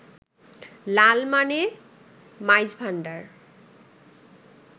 লাল মানে মাইজভাণ্ডার